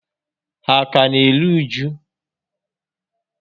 Ha a ka n'eru uju?